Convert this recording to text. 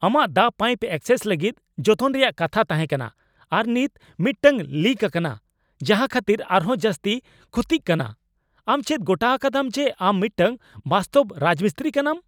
ᱟᱢᱟᱜ ᱫᱟᱜ pipe access ᱞᱟᱹᱜᱤᱫ ᱡᱚᱛᱚᱱ ᱨᱮᱭᱟᱜ ᱠᱟᱛᱷᱟ ᱛᱟᱦᱮᱸ ᱠᱟᱱᱟ, ᱟᱨ ᱱᱤᱛ ᱢᱤᱫᱴᱟᱝ ᱞᱤᱠ ᱟᱠᱟᱱᱟ ᱡᱟᱦᱟᱸ ᱠᱷᱟᱹᱛᱤᱨ ᱟᱨᱦᱚᱸ ᱡᱟᱹᱥᱛᱤ ᱠᱷᱚᱛᱤᱜ ᱠᱟᱱᱟ ! ᱟᱢ ᱪᱮᱫ ᱜᱚᱴᱟ ᱟᱠᱟᱫᱟᱢ ᱡᱮ ᱟᱢ ᱢᱤᱫᱴᱟᱝ ᱵᱟᱥᱛᱚᱵᱽ ᱨᱟᱡᱽᱢᱤᱥᱛᱨᱤ ᱠᱟᱱᱟᱢ ?